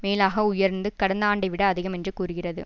மேலாக உயர்ந்து கடந்த ஆண்டை விட அதிகம் என்று கூறுகிறது